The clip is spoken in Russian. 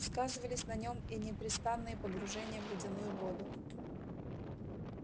сказывались на нем и непрестанные погружения в ледяную воду